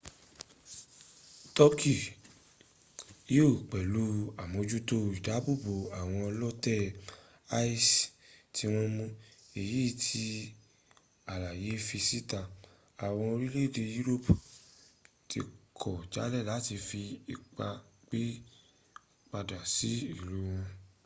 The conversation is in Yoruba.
turkey yíò pẹ̀lú àmójútó ìdábòbò àwọn ọlótè isis tí wọ́n mú èyí tí àlàyé fi síta àwọn orílẹ̀-èdè yúróòpù tí kọ̀ jálè láti fi ipá gbé padà sí ìlú wọn